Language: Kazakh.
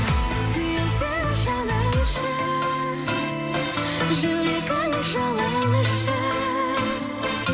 сүйемін сені жаным үшін жүрегімнің жалыны үшін